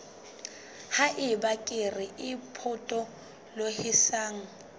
ha eba kere e potolohisang